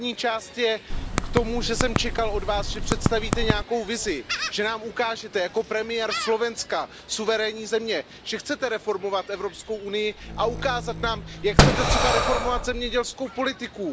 První část je k tomu, že jsem čekal od Vás, že představíte nějakou vizi, že nám ukážete jako premiér Slovenska, suverénní země, že chcete reformovat Evropskou unii a ukázat nám, jak chcete třeba reformovat zemědělskou politiku.